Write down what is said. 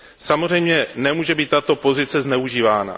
Samozřejmě nemůže být tato pozice zneužívána.